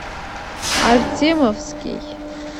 артемовский